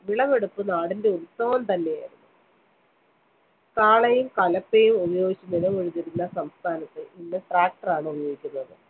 വിളവെടുപ്പ് നാടിന്റെ ഉത്സവം തന്നെയായിരുന്നു. കാളയും കലപ്പയും ഉപയോഗിച്ച് നിലമുഴുതിരുന്ന സ്ഥാനത്ത് ഇന്ന് tractor ഉപയോഗിക്കുന്നത്.